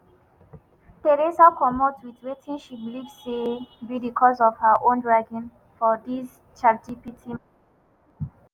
theresa comot wit wetin she believe say be di cause of her own dragging for dis chatgpt.